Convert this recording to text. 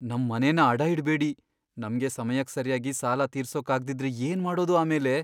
ನಮ್ ಮನೆನ ಅಡ ಇಡ್ಬೇಡಿ. ನಮ್ಗೆ ಸಮಯಕ್ ಸರ್ಯಾಗಿ ಸಾಲ ತೀರ್ಸೋಕಾಗ್ದಿದ್ರೆ ಏನ್ಮಾಡೋದು ಆಮೇಲೆ?